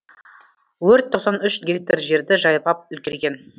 өрт тоқсан үш гектар жерді жайпап үлгерген